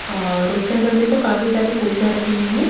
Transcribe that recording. और उसके अंदर देखो काफी सारी कुर्सियां रखी हुई हैं।